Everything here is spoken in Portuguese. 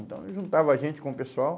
Então, juntava a gente com o pessoal.